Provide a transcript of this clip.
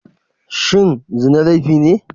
Shin zina laifi ne?